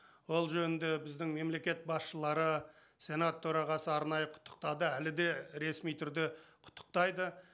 ол жөнінде біздің мемлекет басшылары сенат төрағасы арнайы құттықтады әлі де ресми түрде құттықтайды